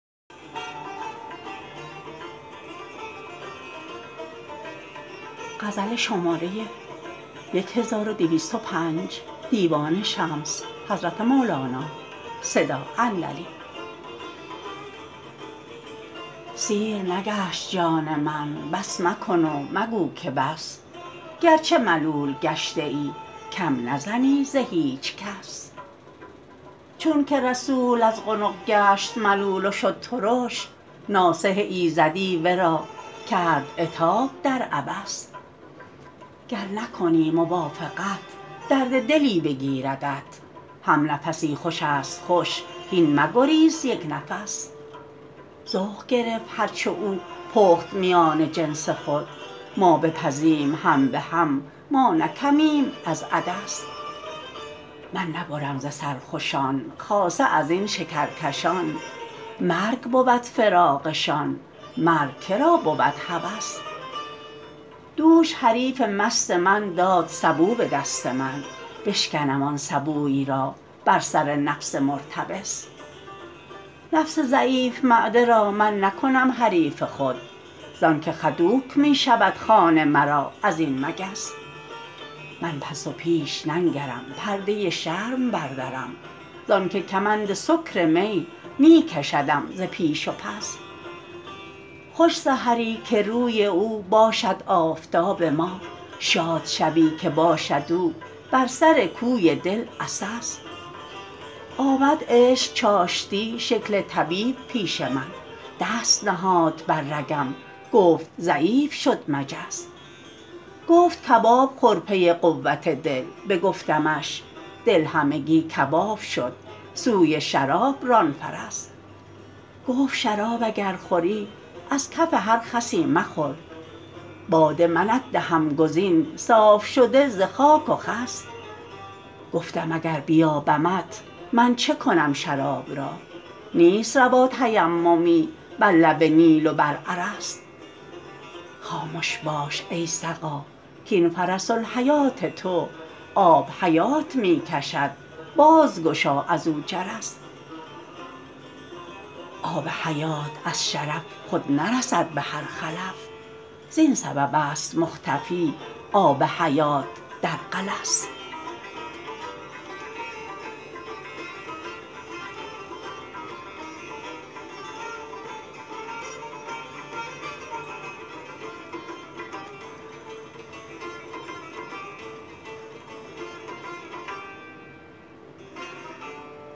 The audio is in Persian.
سیر نگشت جان من بس مکن و مگو که بس گرچه ملول گشته ای کم نزنی ز هیچ کس چونک رسول از قنق گشت ملول و شد ترش ناصح ایزدی ورا کرد عتاب در عبس گر نکنی موافقت درد دلی بگیردت همنفسی خوش است خوش هین مگریز یک نفس ذوق گرفت هر چه او پخت میان جنس خود ما بپزیم هم به هم ما نه کمیم از عدس من نبرم ز سرخوشان خاصه از این شکرکشان مرگ بود فراقشان مرگ که را بود هوس دوش حریف مست من داد سبو به دست من بشکنم آن سبوی را بر سر نفس مرتبس نفس ضعیف معده را من نکنم حریف خود زانک خدوک می شود خوان مرا از این مگس من پس و پیش ننگرم پرده شرم بردرم زانک کمند سکر می می کشدم ز پیش و پس خوش سحری که روی او باشد آفتاب ما شاد شبی که باشد او بر سر کوی دل عسس آمد عشق چاشتی شکل طبیب پیش من دست نهاد بر رگم گفت ضعیف شد مجس گفت کباب خور پی قوت دل بگفتمش دل همگی کباب شد سوی شراب ران فرس گفت شراب اگر خوری از کف هر خسی مخور باده منت دهم گزین صاف شده ز خاک و خس گفتم اگر بیابمت من چه کنم شراب را نیست روا تیممی بر لب نیل و بر ارس خامش باش ای سقا کاین فرس الحیات تو آب حیات می کشد بازگشا از او جرس آب حیات از شرف خود نرسد به هر خلف زین سببست مختفی آب حیات در غلس